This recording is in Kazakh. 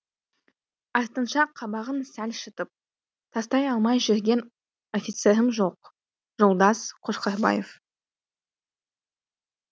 артынша қабағын сәл шытып тастай алмай жүрген офицерім жоқ жолдас қошқарбаев